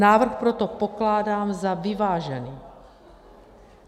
Návrh proto pokládám za vyvážený.